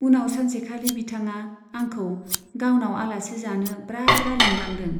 उनाव सानसेखालि बिथाङा आंखौ गावनाव आलासि जानो ब्रा ब्रा लिंलांदों।